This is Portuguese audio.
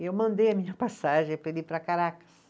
E eu mandei a minha passagem para ele ir para Caracas.